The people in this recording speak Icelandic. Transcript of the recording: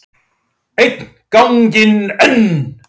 Einn ganginn enn.